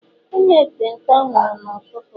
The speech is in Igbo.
onye ekpenta nwuru n'ututu a